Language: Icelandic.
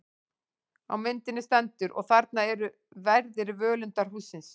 Á myndinni stendur: Og þarna eru verðir völundarhússins.